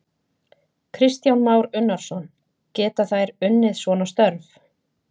Kristján Már Unnarsson: Geta þær unnið svona störf?